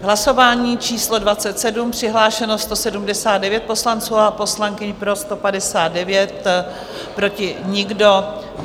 Hlasování číslo 27, přihlášeno 179 poslanců a poslankyň, pro 159, proti nikdo.